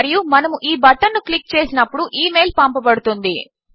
మరియు మనము ఈ బటన్ ను క్లిక్ చేసినప్పుడు ఇమెయిల్ పంపబడుతుంది